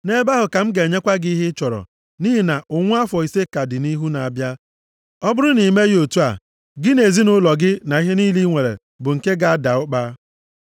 Nʼebe ahụ ka m ga-enyekwa gị ihe ị chọrọ, nʼihi na ụnwụ afọ ise ka dị nʼihu na-abịa. Ọ bụrụ na i meghị otu a, gị na ezinaụlọ gị na ihe niile bụ nke gị ga-ada ụkpa.’